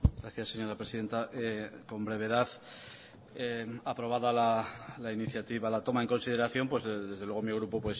gracias señora presidenta con brevedad aprobada la iniciativa la toma en consideración desde luego mi grupo